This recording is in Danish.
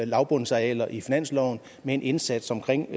lavbundsarealer i finansloven med en indsats omkring